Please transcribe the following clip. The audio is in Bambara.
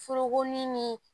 Forokonin ni